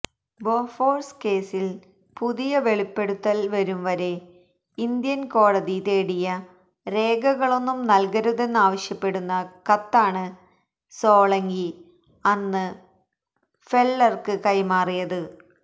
Bofors കേസില് പുതിയ വെളിപ്പെടുത്തല് വരുംവരെ ഇന്ത്യന് കോടതി തേടിയ രേഖകളോന്നും നല്കരുതൊന്നാവശ്യപ്പെടുന്ന കത്താണ് സോളങ്കി അന്ന് ഫെല്ലര്ക്ക് കൈമാറിയത്